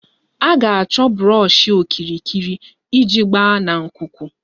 Ị ga-achọ brọshi okirikiri iji agba na nkuku